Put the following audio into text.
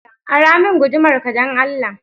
Ara min gudumar ka dan Allah